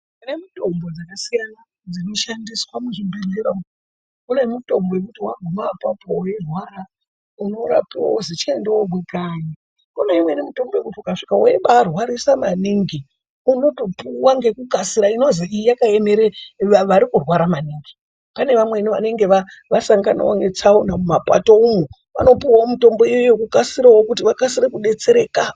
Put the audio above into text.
Kune mitombo dzakasiyana dzinoshandiswa muzvibhehlera umwu kune mitombo inoti waguma apapo weirwara unorapiwa wozi chienda womwe kanyi kuneimweni mitombo yekuti ukasvike webaarwarisa maningi unotopuwa ngekukasika inozi iyi yakaemera vari kurwara maningi panevamweni vanenge vasanganawo netsaona mumapato umwo vanopuwawo mitombo iyoyo kuti vakase kudetsereka.